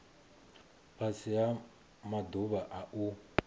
fhasi ha maḓuvha a u